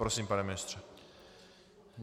Prosím, pane ministře.